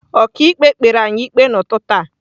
Ọkàikpe kpere anyị ikpe n’ụtụtụ a.